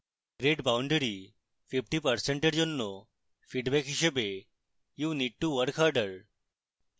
grade boundary 50% এর জন্য feedback হিসাবে you need to work harder